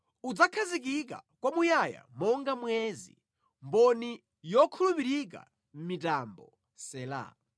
udzakhazikika kwamuyaya monga mwezi, mboni yokhulupirika mʼmitambo. Sela